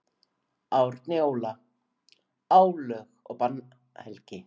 Árni Óla: Álög og bannhelgi.